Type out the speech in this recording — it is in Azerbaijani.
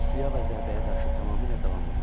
Suya və zərbəyə qarşı tamamilə davamlıdır.